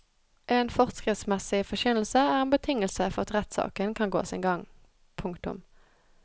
En forskriftsmessig forkynnelse er en betingelse for at rettssaken kan gå sin gang. punktum